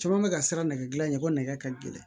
Caman bɛ ka siran nɛgɛdilan in ko nɛgɛ ka gɛlɛn